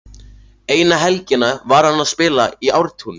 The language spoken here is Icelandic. Eina helgina var hann að spila í Ártúni.